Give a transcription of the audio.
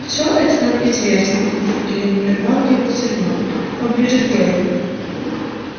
всё это нам известно нетерпеливо прервал его сермак поближе к делу